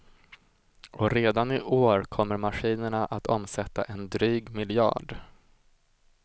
Och redan i år kommer maskinerana att omsätta en dryg miljard.